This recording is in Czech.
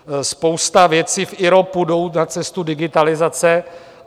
Spousta věcí v IROPu jde na cestu digitalizace.